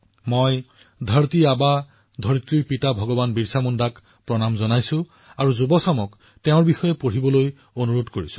মই ধৰতী আবা বিৰচা মুণ্ডাক প্ৰণাম জনাইছো আৰু যুৱচামক তেওঁৰ বিষয়ে অধিক পঢ়িবলৈ অনুৰোধ জনাইছো